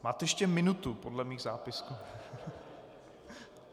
Máte ještě minutu podle mých zápisků.